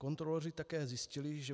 Kontroloři také zjistili, že